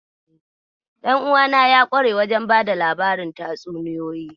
Ɗanuwana ya kware wajen bada labarin tatsuniyoyi.